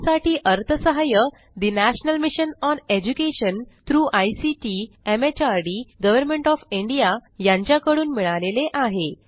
यासाठी अर्थसहाय्य national mission on education through ICT MHRD government of India यांच्याकडून मिळालेले आहे